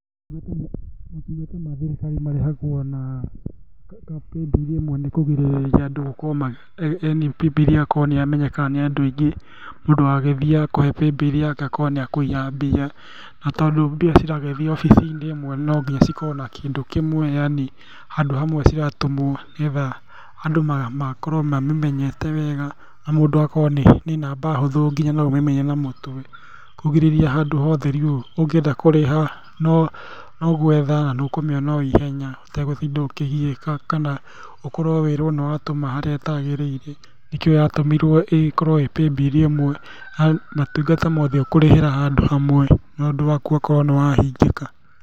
Maũtungata ma thirikari marĩhagwo na paybill ĩmwe nĩkũgirĩrĩria andũ gũkorwo ma yani paybill ĩgakorwo nĩyamenyeka nĩ andũ aingĩ, mũndũ agagĩthiĩ akũhe paybill yake akorwo nĩakũiya mbia. Na tondũ mbia ciragĩthiĩ obici-inĩ ĩmwe na nonginya cikorwo na kĩndũ kĩmwe yani handũ hamwe ciratũmwo nĩgetha andũ makorwo mamĩmenyete wega, na mũndũ agakorwo nĩ namba hũthũ nginya noũmĩmenye na mũtwe kũgirĩrĩria handũhothe rĩu ũngĩenda kũrĩha, nogwetha, na nĩũkũmĩona oihenya ũtegũtinda ũkĩgiĩka kana ũkorwo wĩrwo nĩwatũma harĩa hatagĩrĩire, nĩkĩo yatũmirwo ĩkorwo ĩ paybill ĩmwe, ma ũtungata mothe ũkũrĩhĩra handũ hamwe maũndũ maku makorwo nĩmahingĩka.